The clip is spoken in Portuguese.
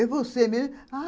É você mesmo? ah